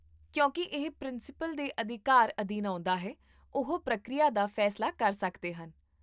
ਕਿਉਂਕਿ ਇਹ ਪ੍ਰਿੰਸੀਪਲ ਦੇ ਅਧਿਕਾਰ ਅਧੀਨ ਆਉਂਦਾ ਹੈ, ਉਹ ਪ੍ਰਕਿਰਿਆ ਦਾ ਫੈਸਲਾ ਕਰ ਸਕਦੇ ਹਨ